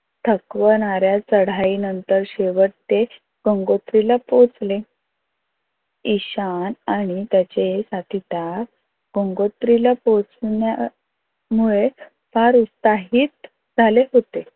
थकवणाऱ्या चढाई नंतर शेवट ते गंगोत्रीला पोहचले. ईशान आणि त्याचे साथीदार गंगोत्रीला पोहचण्यामुळे फार उत्साहित झाले होते.